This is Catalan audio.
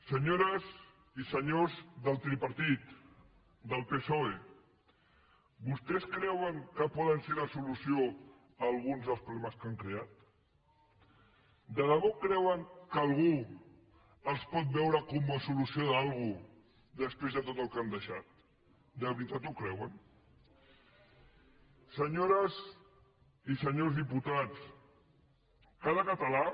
senyores i senyors del tripartit del psoe vostès creuen que poden ser la solució a alguns dels problemes que han creat de debò creuen que algú els pot veure com a solució de quelcom després de tot el que han deixat de veritat ho creuen senyores i senyors diputats cada català